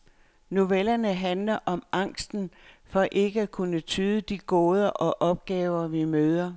Novellerne handler om angsten for ikke at kunne tyde de gåder og opgaver, vi møder.